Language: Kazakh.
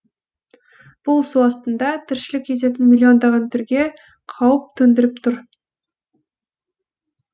бұл су астында тіршілік ететін миллиондаған түрге қауіп төндіріп тұр